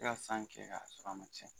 E ka san kɛ k'a sɔrɔ a ma cɛn